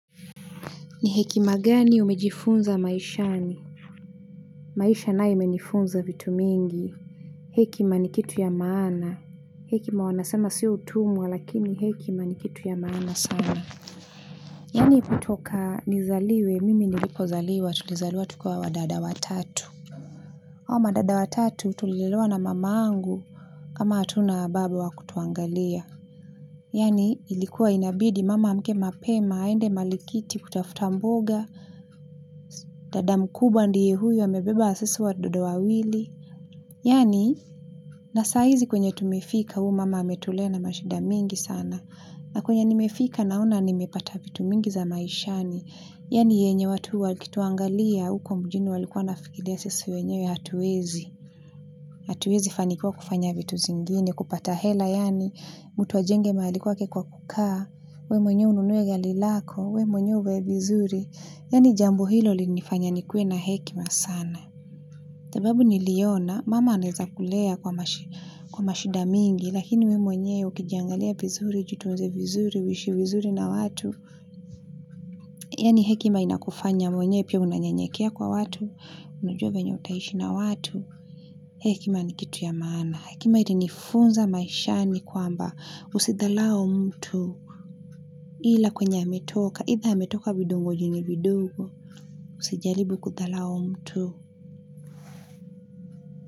Ni hekima gani umejifunza maishani? Maisha nae imenifunza vitu mingi. Hekima ni kitu ya maana. Hekima wanasema sio utumwa lakini hekima ni kitu ya maana sana. Yaani kutoka nizaliwe mimi nilipozaliwa tulizaliwa tukiwa wadada watatu. Hawa madada watatu tulilelewa na mama angu kama hatuna baba wa kutuangalia. Yaani ilikuwa inabidi mama aamke mapema aende malikiti kutafuta mboga. Dada mkubwa ndiye huyu amebeba sisi watoto wawili yaani na saa hizi kwenye tumefika huu mama ametulea na mashida mingi sana na kwenye nimefika naona nimepata vitu mingi za maishani yaani yenye watu wakituangalia huko mjini walikuwa wanafikiria sisi wenyewe hatuwezi hatuwezi fanikiwa kufanya vitu zingine kupata hela yaani mtu ajenge mahali kwake kwa kukaa we mwenyewe ununue gari lako we mwenyewe huvae vizuri yaani jambo hilo lilinifanya nikue na hekima sana. Sababu niliona, mama anaeza kulea kwa mashida mingi, lakini we mwenyewe ukiangalia vizuri, ujitunze vizuri, uishi vizuri na watu. Yaani hekima inakufanya mwenyewe, pia unanyanyekea kwa watu, unujua venye utaishi na watu. Hekima ni kitu ya maana. Hekima ilinifunza maishani kwamba husidharau mtu. Ila kwenye ametoka, aidha ametoka vitongojini vidogo, usijaribu kudharau mtu.